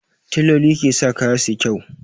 Tailoli ke sa kaya suyi kyau